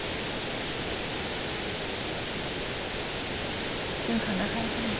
কিবা khana খাই আছা নেকি ?